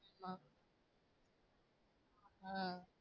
ஆஹ்